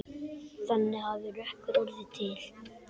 Þannig hafi Rökkur orðið til.